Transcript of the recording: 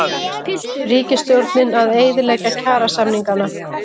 Ríkisstjórnin að eyðileggja kjarasamningana